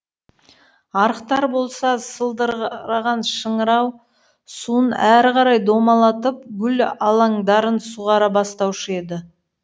арықтар болса сылдыраған шыңырау суын әрі қарай домалатып гүл алаңдарын суғара бастаушы еді